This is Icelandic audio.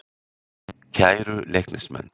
Kæru Leiknismenn.